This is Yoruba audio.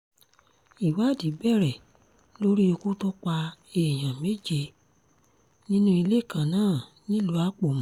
ìwádìí bẹ̀rẹ̀ lórí ikú tó pa èèyàn méje nínú ilé kan náà nílùú àpómù